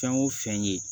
Fɛn o fɛn ye